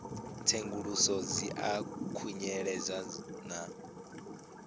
tsenguluso dzi a khunyeledzwa na